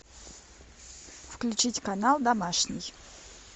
включить канал домашний